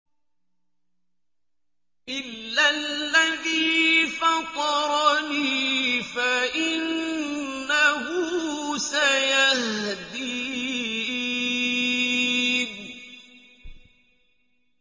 إِلَّا الَّذِي فَطَرَنِي فَإِنَّهُ سَيَهْدِينِ